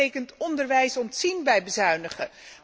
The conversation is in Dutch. Dat betekent onderwijs ontzien bij bezuinigen.